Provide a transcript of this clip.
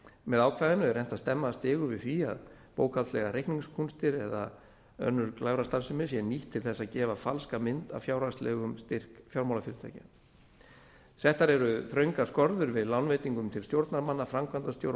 með ákvæðinu er reynt að stemma stigu við því að bókhaldslegar reikningskúnstir eða önnur glæfrastarfsemi sé nýtt til þess að gefa falska mynd af fjárhagslegum styrk fjármálafyrirtækja settar eru þröngar skorður við lánveitingum til stjórnarmanna framkvæmdastjóra og